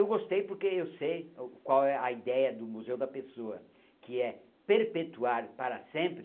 Eu gostei porque eu sei qual é a ideia do Museu da Pessoa, que é perpetuar para sempre